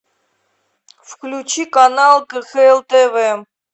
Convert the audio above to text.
включи канал кхл тв